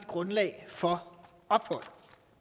for ophold